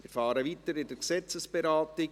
Wir fahren weiter mit der Gesetzesberatung.